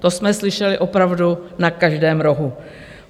To jsme slyšeli opravdu na každém rohu.